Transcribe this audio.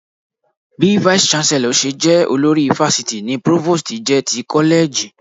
Bí Vice Chancellor ṣe jẹ́ olórí fásitì ni Provost jẹ́ ti kọ́lẹ́ẹ̀jì